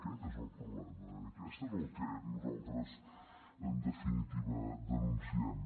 aquest és el problema aquest és el que nosaltres en definitiva denunciem